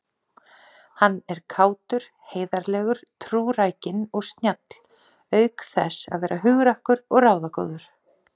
Hann er kátur, heiðarlegur, trúrækinn og snjall auk þess að vera hugrakkur og ráðagóður.